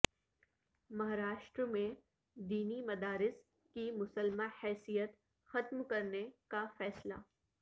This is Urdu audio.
مہاراشٹرا میں دینی مدارس کی مسلمہ حیثیت ختم کرنے کا فیصلہ